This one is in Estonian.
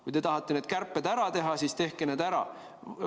Kui te tahate need kärped ära teha, siis tehke need ära.